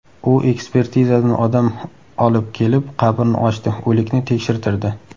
U ekspertizadan odam olib kelib qabrni ochdi, o‘likni tekshirtirdi.